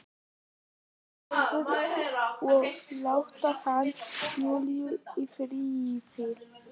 Hún fari og láti hana, Júlíu, í friði.